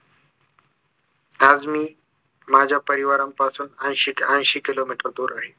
आज मी माझ्या परिवारापासून ऐंशी ऐंशी किलोमीटर दूर आहे